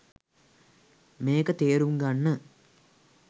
මේක තේරුම් ගන්න